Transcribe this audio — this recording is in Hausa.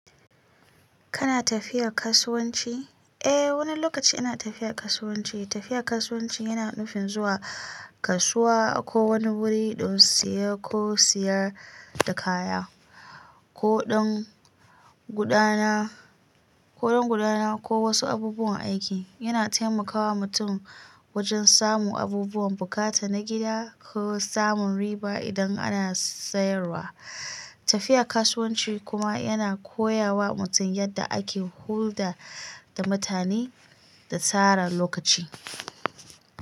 Kana tafiya kasuwanci? Eh, wani lokaci ina tafiya kasuwanci. Tafiya kasuwanci yana nufin zuwa kasuwa ko wani wuri don siye ko sayar da kaya, ko don gudana, ko don gudana ko wasu abubuwan aiki. Yana taimakawa mutum wajen samun abubuwan bukata na gida ko samun riba idan ana sayarwa. Tafiya kasuwanci kuma yana koya wa mutum yadda ake hulɗa da mutane da tsara lokaci.